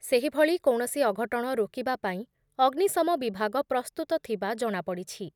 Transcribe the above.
ସେହିଭଳି କୌଣସି ଅଘଟଣ ରୋକିବା ପାଇଁ ଅଗ୍ନିଶମ ବିଭାଗ ପ୍ରସ୍ତୁତ ଥିବା ଜଣାପଡ଼ିଛି ।